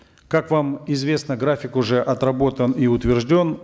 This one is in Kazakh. как вам известно график уже отработан и утвержден